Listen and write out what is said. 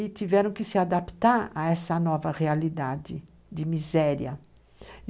E tiveram que se adaptar a essa nova realidade de miséria.